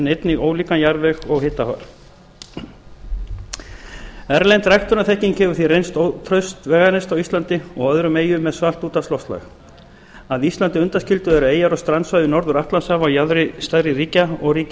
einnig ólíkan jarðveg og hitafar erlend ræktunarþekking hefur því reynst ótraust veganesti á íslandi og öðrum eyjum með svalt úthafsloftslag að íslandi undanskildu eru eyjar og strandsvæði við norður atlantshaf á jaðri stærri ríkja og